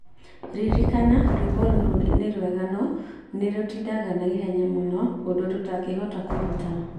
Ririkana rwĩmbo rũrũ nĩ rwĩega no nĩ rũtindaga na ihenya mũno ũndũ rũtangĩhota kũruta.